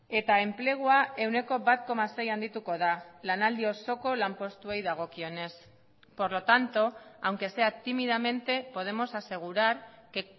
eta enplegua ehuneko bat koma sei handituko da lanaldi osoko lanpostuei dagokionez por lo tanto aunque sea tímidamente podemos asegurar que